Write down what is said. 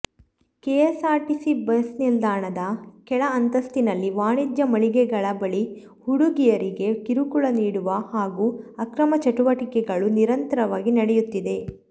KSRTC ಬಸ್ನಿಲ್ದಾಣದ ಕೆಳ ಅಂತಸ್ತಿನಲ್ಲಿ ವಾಣಿಜ್ಯ ಮಳಿಗೆಗಳ ಬಳಿ ಹುಡುಗಿಯರಿಗೆ ಕಿರುಕುಳ ನೀಡುವ ಹಾಗೂ ಅಕ್ರಮ ಚಟುವಟಿಕೆಗಳು ನಿರಂತರವಾಗಿ ನಡೆಯುತ್ತಿದೆ